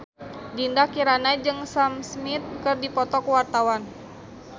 Dinda Kirana jeung Sam Smith keur dipoto ku wartawan